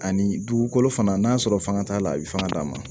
Ani dugukolo fana n'a sɔrɔ fanga t'a la a bɛ fanga d'a ma